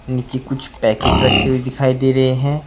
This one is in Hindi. नीचे कुछ पैकेट रखे हुए दिखाई दे रहे हैं।